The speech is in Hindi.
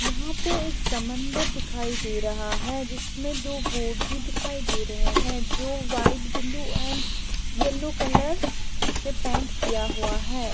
यहाँ पे एक समंदर दिखाई दे रहा है जिसमें दो बोट भी दिखाई दे रहें हैं जो white blue and yellow colour से पैंट किया हुआ हैं।